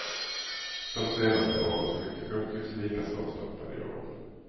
De senaste årens skyttekung tycks lika svårstoppad i år.